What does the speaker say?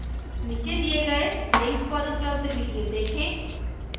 नीचे दिखाये गये link पर उपलब्ध video देखें